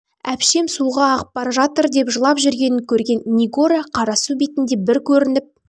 әпшем суға ағып бара жатыр деп жылап жүргенін көрген нигора қара су бетінде бір көрініп